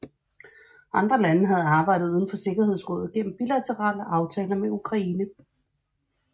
Andre lande havde arbejdet uden for Sikkerhedsrådet gennem bilaterale aftaler med Ukraine